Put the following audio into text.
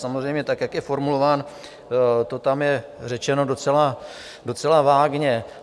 Samozřejmě, tak jak je formulován, to tam je řečeno docela vágně.